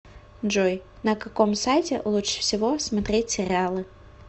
джой на каком сайте лучше всего смотреть сериалы